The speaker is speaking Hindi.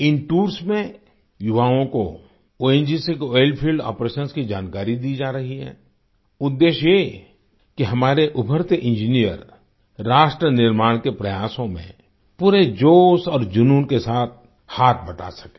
इन टूर्स में युवाओं को ओंजीसी के ओइल फील्ड आपरेशंस की जानकारी दी जा रही है उद्धेश्य ये कि हमारे उभरते इंजीनियर राष्ट्र निर्माण के प्रयासों में पूरे जोश और जुनून के साथ हाथ बंटा सकें